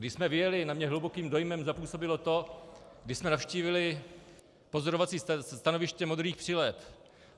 Když jsme vyjeli, na mě hlubokým dojmem zapůsobilo to, když jsme navštívili pozorovací stanoviště modrých přileb.